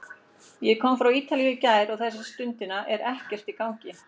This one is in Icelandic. Ég kom frá Ítalíu í gær og þessa stundina er ekkert í gangi.